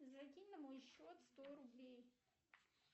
закинь на мой счет сто рублей